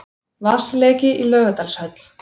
Vatnsleki í Laugardalshöll